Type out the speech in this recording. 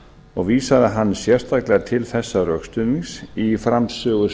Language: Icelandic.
og vísaði sérstaklega hann til þessa rökstuðnings í framsöguræðu